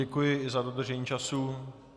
Děkuji i za dodržení času.